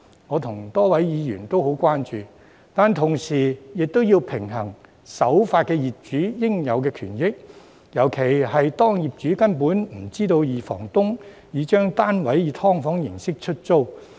我與多位議員對此也很關注，但同時亦要平衡守法業主的應有權益，尤其是當業主根本不知道二房東已將單位以"劏房"形式出租。